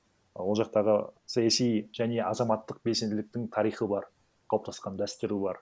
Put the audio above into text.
ы ол жақтағы саяси және азаматтық белсенділіктің тарихы бар қалыптасқан дәстүрі бар